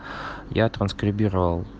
я транскрибировал